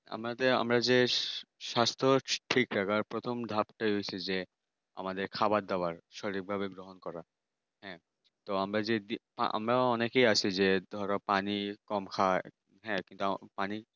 আমাদের আমরা যে স্বাস্থ্য ঠিক রাখার প্রথম ধাপ যে হচ্ছে যে আমাদের খাওয়ার দাবার সঠিকভাবে গ্রহণ করা হ্যাঁ তো আমরা যদি আমরা অনেকেই আছি যে এই ধরো পানি কম খায় হ্যাঁ একদম